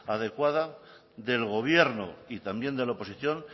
adecuada del gobierno y también de la oposición